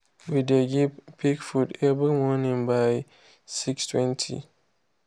we dey give pig food every morning by 6:20.